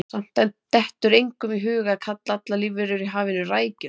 Samt dettur engum í hug að kalla allar lífverur í hafinu rækjur.